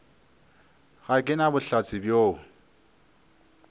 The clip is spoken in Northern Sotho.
ga ke na bohlatse bjoo